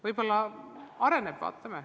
Võib-olla areneb, vaatame.